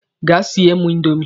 Gaa siele mụ indomi!